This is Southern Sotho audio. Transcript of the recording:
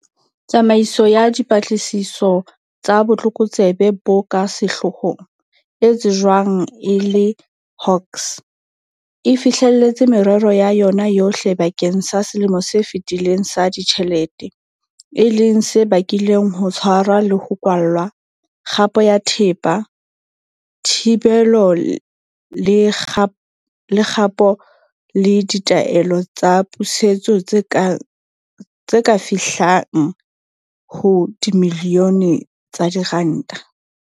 Tsamaiso ya Dipatlisiso tsa Botlokotsebe bo ka Sehloohong, e tsejwang e le Hawks, e fihlelletse merero ya yona yohle bakeng sa selemo se fetileng sa ditjhelete, e leng se bakileng ho tshwarwa le ho kwallwa, kgapo ya thepa, thibelo le kgapo le ditaelo tsa pusetso tse ka fihlang ho dimilione tsa diranta.